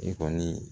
E kɔni